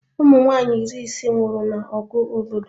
Ụmụnwaanyị iri ise nwụrụ na ọgụ obodo